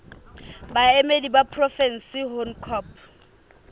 baemedi ba porofensi ho ncop